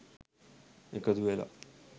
එකතු වෙලා